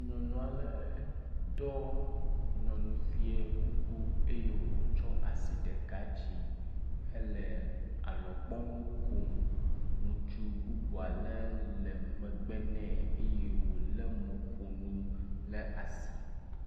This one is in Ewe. Nyɔnu aɖe ɖɔ nyɔnufia kuku eye wotsɔ asi ɖeka dzi hele alɔgbɔnu kom. Ŋutsu bubu aɖe le megbe nɛ eye wo le mɔƒonu ɖe asi.